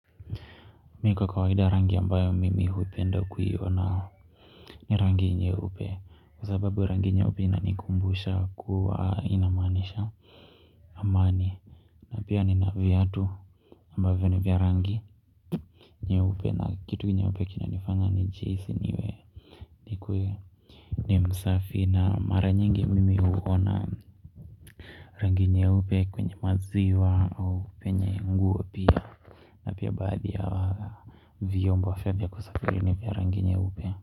Mi kwa kawaida rangi ambayo mimi huipenda kuiona. Ni rangi nyeupe kwa sababu rangi nyeupe inanikumbusha kuwa inamaanisha amani na pia nina viatu ambavyo ni vya rangi nyeupe na kitu nyeupe kinanifanya nihisi niwe nikuwe ni msafi na mara nyingi mimi huona rangi nyeupe kwenye maziwa au penye nguopia na pia baadhi ya vyombo pia vya kusafiri ni vya rangi nyeupe.